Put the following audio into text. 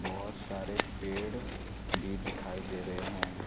बहुत सारे पेड़ भी दिखाई दे रहे हैं।